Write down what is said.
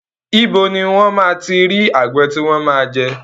Ibo ní wón máa ti rí àgbon tí wọn máa jẹ?